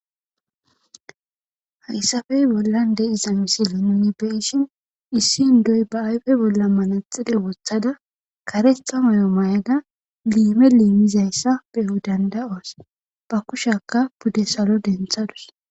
Hayssafe bollan de'iza misile nuni be'ishin issi indiya ba ayfe bolla manaxire wothada karetha moyo mayada liime liimizayssa beyo danda'os. Ba kushaka budde salo denthadus.